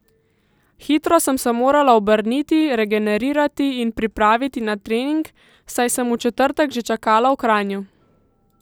Hitro sem se morala obrniti, regenerirati in pripraviti na trening, saj sem v četrtek že čakala v Kranju.